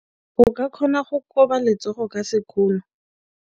O ka kgona go koba letsogo ka sekgono.